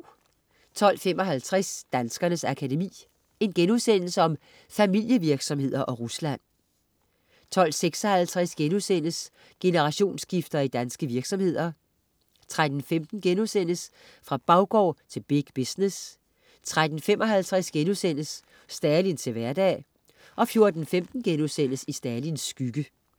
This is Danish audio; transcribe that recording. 12.55 Danskernes Akademi. Familievirksomheder og Rusland* 12.56 Generationsskifter i danske virksomheder* 13.15 Fra baggård til big business* 13.55 Stalin til hverdag* 14.15 I Stalins skygge*